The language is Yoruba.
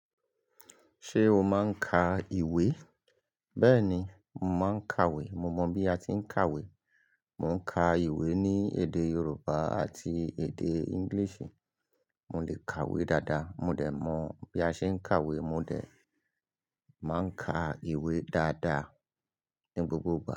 Ṣé o máa ń ka ìwé? Bẹ́ẹ̀ni, mo máa ń kàwé. Mo mọ bí a ti ń kàwé. Mò ń ka ìwé ní èdè Yorùbá àti èdè English. Mo lè kàwé dáadáa, mo dẹ̀ mọ bí a ṣe ń kàwé, mo dẹ̀ máa ń ka ìwé dáadáa ní gbogbo ìgbà.